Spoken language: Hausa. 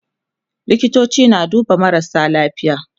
likitoci na duba marasa lafiya